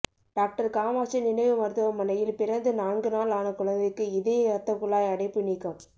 doctor Kamatchi நினைவு மருத்துவமனையில் பிறந்து நான்கு நாள் ஆன குழந்தைக்கு இதய ரத்தகுழாய் அடைப்பு நீக்கம்